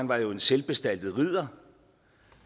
var jo en selvbestaltet ridder